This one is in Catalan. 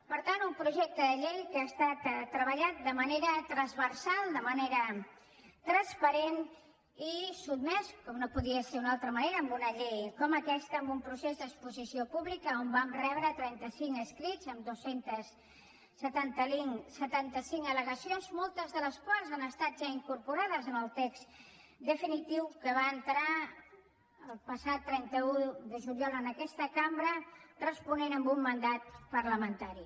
per tant un projecte de llei que ha estat treballat de manera transversal de manera transparent i sotmès com no podria ser d’una altra manera en una llei com aquesta a un procés d’exposició pública on vam rebre trenta cinc escrits amb dos cents i setanta cinc al·legacions moltes de les quals han estat ja incorporades al text definitiu que va entrar el passat trenta un de juliol a aquesta cambra responent a un mandat parlamentari